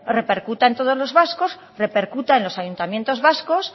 repercuta en todos los vascos repercuta en los ayuntamientos vascos